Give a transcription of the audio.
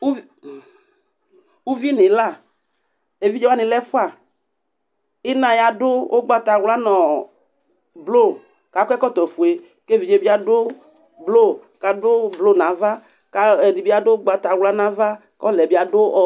Uvi, uvi nʋ ɩla Evidze wanɩ lɛ ɛfʋa Ɩna yɛ adʋ ʋgbatawla nʋ ɔ blo kʋ akɔ ɛkɔtɔfue kʋ evidze yɛ bɩ adʋ blo kʋ adʋ blo nʋ ava kʋ ayɔ ɛdɩ bɩ adʋ ʋgbatawla nʋ ava kʋ ɔla yɛ bɩ adʋ ɔ